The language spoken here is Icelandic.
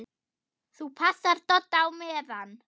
ÞÚ PASSAR DODDA Á MEÐAN!